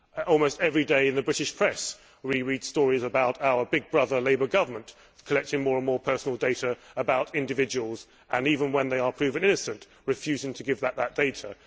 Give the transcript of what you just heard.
Almost every day in the British press we read stories about our big brother Labour Government collecting more and more personal data about individuals and, even when they are proven innocent, refusing to give back that data.